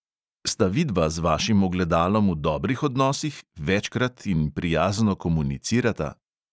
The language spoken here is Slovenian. Sta vidva z vašim ogledalom v dobrih odnosih, večkrat in prijazno komunicirata?